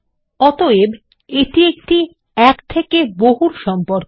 অতএব এটি একটি এক থেকে বহুর সম্পর্ক